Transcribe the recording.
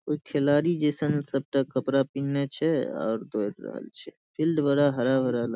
कोई खिलाड़ी जैसन सबटा कपड़ा पिहनला छै आर दौड़ रहल छै फील्ड बड़ा हरा भरा लागे --